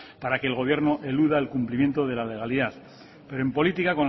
para que el gobierno eluda el cumplimiento de la legalidad pero en política